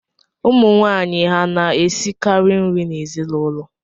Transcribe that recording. Ụmụnwaanyị ha na-esikara nri n’ezinụlọ?